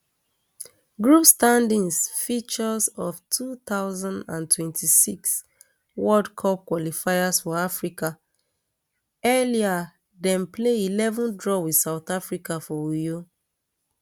group standings fixtures of two thousand and twenty-six world cup qualifiers for africa earlier dem play eleven draw with south africa for uyo